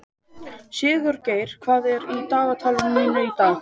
Sigurgeir, hvað er í dagatalinu mínu í dag?